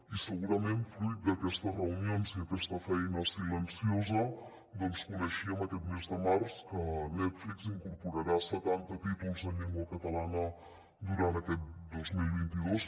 i segurament fruit d’aquestes reunions i d’aquesta feina silenciosa coneixíem aquest mes de març que netflix incorporarà setanta títols en llengua catalana durant aquest dos mil vint dos